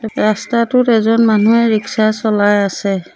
ৰাস্তাটোত এজন মানুহে ৰিক্সা চলাই আছে।